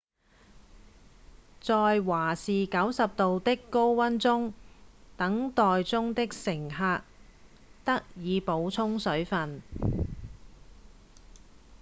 在華氏90度的高溫中等待中的乘客得以補充水份